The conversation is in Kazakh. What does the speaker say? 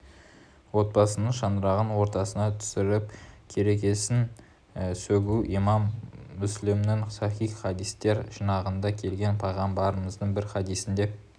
отбасының шаңырағын ортасына түсіріп керегесін сөгу имам мүслімнің сахих хадистер жинағында келген пайғамбарымыздың бір хадисінде